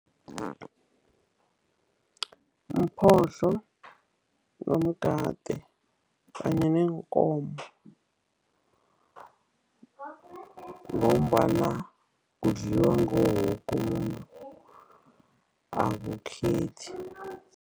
Umphohlo, umgade kanye neenkomo ngombana udliwa nguwo woke umuntu, akukhethi.